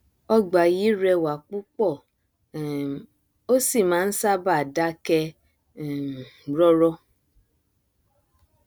ọgbà yìí rẹwà púpọ um ó sì máa nṣábàá dákẹ um rọrọ